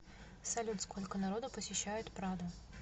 салют сколько народу посещает прадо